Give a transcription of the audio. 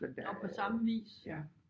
Nå på samme vis